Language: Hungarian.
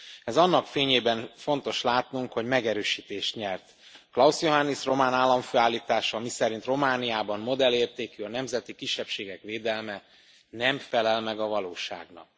Ezt annak fényében fontos látnunk, hogy megerősítést nyert Klaus Johannis román államfő állítása, miszerint Romániában modellértékű a nemzeti kisebbségek védelme, nem felel meg a valóságnak.